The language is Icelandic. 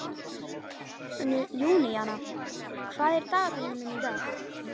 Júníana, hvað er í dagatalinu mínu í dag?